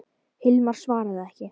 Hilmar svaraði ekki.